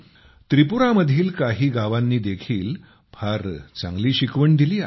त्रिपुरामधील काही गावांनी देखील फार चांगली शिकवण दिली आहे